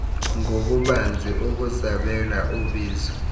ngobubanzi ukusabela ubizo